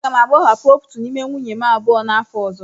M ga-agbahapụ otu n'ime nwunye m abụọ n'afọ ọzọ.